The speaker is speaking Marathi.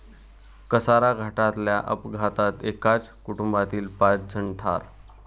कसारा घाटातल्या अपघातात एकाच कुटुंबातील पाच जण ठार